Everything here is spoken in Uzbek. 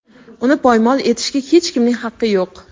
Uni poymol etishga hech kimning haqqi yo‘q.